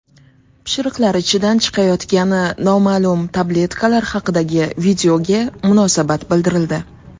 Pishiriqlar ichidan chiqayotgani noma’lum tabletkalar haqidagi videoga munosabat bildirildi .